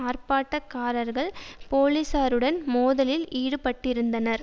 ஆர்ப்பாட்டக்காரர்கள் போலீசாருடன் மோதலில் ஈடுபட்டிருந்தனர்